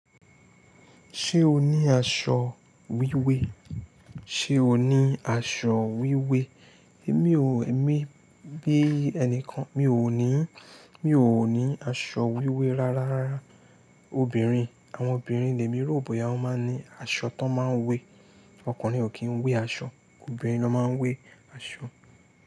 Ṣé o ní aṣọ wíwé? Sé o ní aṣọ wíwé? Èmi ò, èmi bí ẹnikan mi ò ní, mi ò ní aṣọ wíwé rárá. Obìnrin, àwọn obìnrin lẹ́mí ròbọ ya wọ́n máa ń ní aṣọ tó máa ń wé. Ọkùnrin ò kí ń wé aṣọ, obìnrin ló máa ń wé aṣọ.